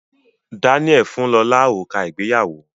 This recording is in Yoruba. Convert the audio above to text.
Daniel fún lọla òrùka ìgbéyàwó